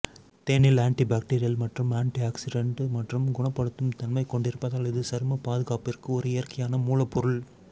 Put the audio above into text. தேனில் ஆன்டிபாக்டீரியல் மற்றும் ஆன்டிஆக்ஸிடென்ட் மற்றும் குணப்படுத்தும் தன்மை கொண்டிருப்பதால் இது சரும பாதுகாப்பிற்கு ஒரு இயற்கையான மூலப்பொருள்